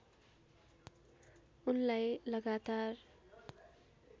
उनलाई लगातार